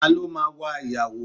Ta ló máa wa ìyàwó?